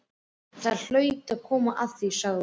Það hlaut að koma að því, sagði hún.